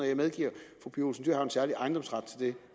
jeg medgiver at en særlig ejendomsret til det